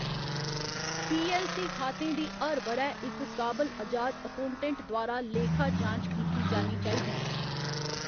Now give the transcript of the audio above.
पी. L. C. खातें दी हर ब'रै इक काबल अजाद अकौटेंट्ट द्वारा लेखा जांच कीती जानी चाहिदी।